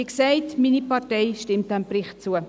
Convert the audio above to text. Wie gesagt, meine Partei stimmt diesem Bericht zu.